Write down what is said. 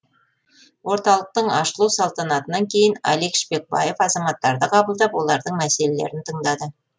орталықтың ашылу салтанатынан кейін алик шпекбаев азаматтарды қабылдап олардың мәселелерін тыңдады